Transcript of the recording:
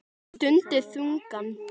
Stundi þungan.